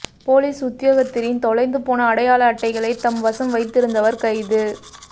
police உத்தியோகத்திரின் தொலைந்து போன அடையாள அட்டைகளை தம் வசம் வைத்திருந்தவர் கைது